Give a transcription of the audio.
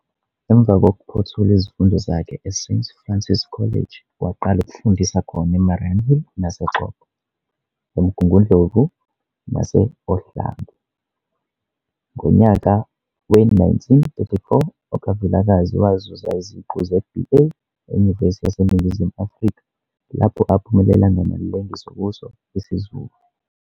Emva kokuphothula izifundo zakhe eSt Francis College waqala ukufundisa khona eMariannhill nase Xobho, eMngungundlovu nasOhlange. Ngonyaka we-1934 okaVilakazi wazuza iziqu ze-B. A. eNyuvesi yaseNingizimu Afrika, lapho aphumelea ngamalengiso kuso IsiZulu.